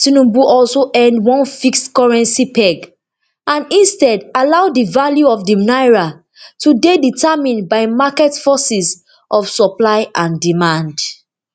tinubu also end one fixed currency peg and instead allow di value of di naira to dey determined by market forces of supply and demand